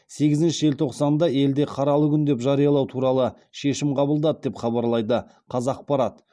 сегізінші желтоқсанда елде қаралы күн деп жариялау туралы шешім қабылдады деп хабарлайды қазақпарат